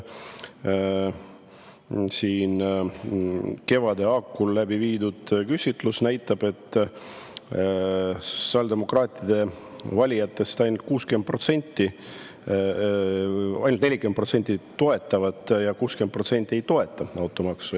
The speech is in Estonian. Kevade hakul läbi viidud küsitlus näitas, et sotsiaaldemokraatide valijatest ainult 40% toetab ja 60% ei toeta automaksu.